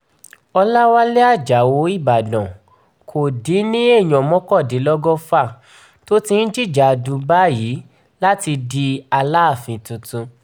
ọ̀làwálẹ̀ ajáò ìbàdàn kò dín ní èèyàn mọ́kàndínlọ́gọ́fà tó ti ń jìjàdù báyìí láti di aláàfin tuntun